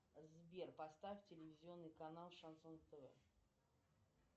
сбер поставь телевизионный канал шансон тв